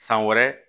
San wɛrɛ